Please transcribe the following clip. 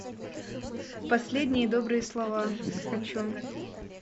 последние добрые слова хочу